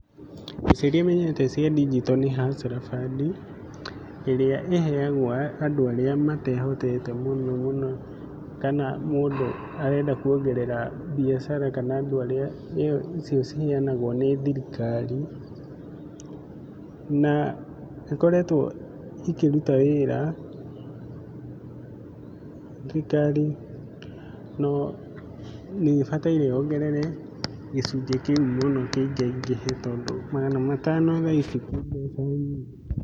Mbeca iria nyonete cia ndinjito nĩ Hustler Fund. ĩrĩa ĩheagwo andũ arĩa matehotete mũno mũno kana mũndu arenda kuongerera mbiacara kana andũ arĩa icio ciheanagwo nĩ thirikari, na nĩ ĩkoretwo ĩkĩruta wĩra. Thirikari nĩ ĩbataire yongerere gĩcunjĩ kĩu mũno kĩingaingĩhe tondũ magana matano thaa ici ti mbeca nyingĩ.